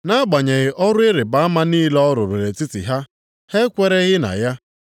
Nʼagbanyeghị ọrụ ịrịbama niile ọ rụrụ nʼetiti ha, ha ekwereghị na ya.